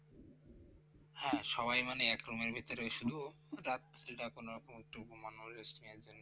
হ্যাঁ সবাই মানে এক room এর ভিতরে ছিল রাত্রিটা কোনরকম একটু ঘুমানো rest নেওয়ার জন্য